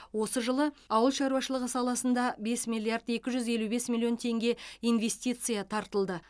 осы жылы ауыл шаруашылығы саласында бес миллиард екі жүз елу бес миллион теңге инвестиция тартылды